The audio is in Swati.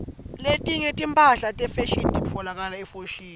letinye timphahla tefashini titfolakala efoshini